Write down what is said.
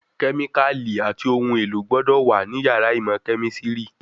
Kẹ́míkàlì àti ohun èlò gbọ́dọ̀ wà ní yàrá ìmọ̀ kẹ̀mísírì